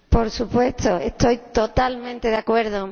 Por supuesto, estoy totalmente de acuerdo.